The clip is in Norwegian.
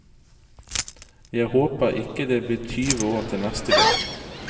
Jeg håper ikke det blir tyve år til neste gang.